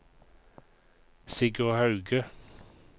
Sigurd Hauge